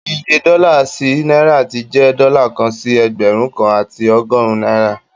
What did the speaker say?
Iye dọ́là sí náìrà ti jẹ dọ́là kan sí Ẹgbẹ̀rún kan àti ọgọ́rùn náìrà